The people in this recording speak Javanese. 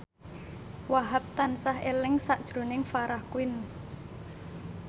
Wahhab tansah eling sakjroning Farah Quinn